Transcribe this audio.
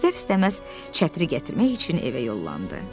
İstər-istəməz çətiri gətirmək üçün evə yollandı.